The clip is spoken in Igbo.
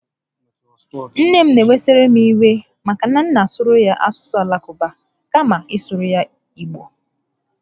Nne m n'ewesara m iwe maka na a na m asụrụ ya asụsụ Alakụba kama ị sụrụ ya Igbo